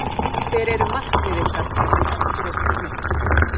Hver eru markmið ykkar það sem eftir er tímabils?